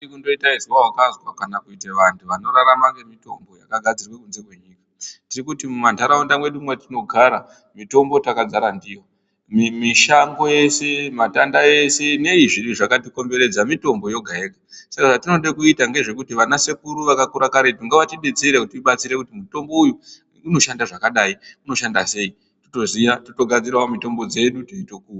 Atidi kundoti izwe wakazwa kana kuite vanthu vanorarama ngemitombo yakagadzirwe kunze kwenyika, tiri kuti mumantharaunde medu matinogara mitombo takadzara ndiyo, mishango yese yese matanda ese nei zviro zvakatikomberedza mitombo yega yega saka zvatinode kuita ngezvekuti vana sekuru vakakure karetu ngavatidetsere kutibatsire kuti mutombo uyu unoshanda zvakadai unoshanda sei toziya teitogadzirirawo mitombo dzedu teitoku...